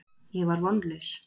Ég var vonlaus.